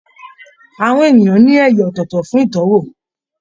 Ahọn èèyàn ní ẹyà ọ̀tọ̀ọ̀tọ̀ fún itọwo